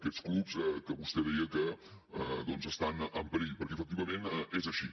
aquests clubs que vostè deia que estan en perill perquè efectivament és així